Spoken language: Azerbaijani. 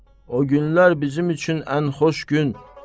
o günlər bizim üçün ən xoş gün.